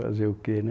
Fazer o quê, né?